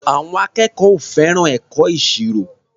Àwọn akẹ́kọ̀ọ́ ò fẹ́ràn ẹ̀kọ́ ìṣirò.